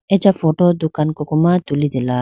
acha photo dukan koko ma tulitela.